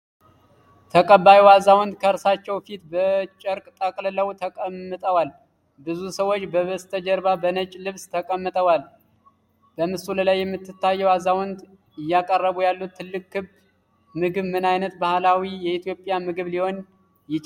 ተቀባዩ አዛውንት ከእርሳቸው ፊት በጨርቅ ተጠቅልለው ተቀምጠዋል፤ ብዙ ሰዎች በበስተጀርባ በነጭ ልብስ ተቀምጠዋል። በምስሉ ላይ የምትታየው አዛውንት እያቀረቡ ያሉት ትልቅ ክብ ምግብ ምን ዓይነት ባህላዊ የኢትዮጵያ ምግብ ሊሆን ይችላል?